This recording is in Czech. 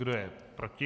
Kdo je proti?